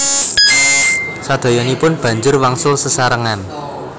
Sadayanipun banjur wangsul sesarengan